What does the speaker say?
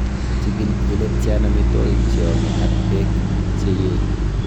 Chigil ile tian amitwogik cheome ak beek che yee.